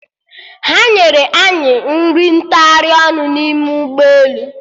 Ha nyere anyị nri ntagharị ọnụ n'ime ụgbọelu